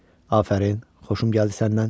Afərin, xoşum gəldi səndən.